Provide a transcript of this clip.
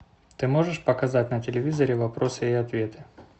ты можешь показать на телевизоре вопросы и ответы